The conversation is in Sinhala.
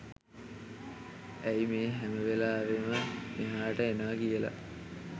ඇයි මේ හැම වෙලාවෙම මෙහාට එනවා කියල